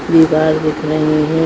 ये बार दिख रहे है।